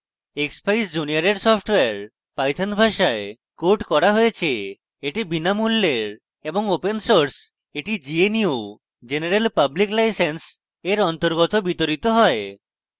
expeyes junior এর software python ভাষায় code করা হয়েছে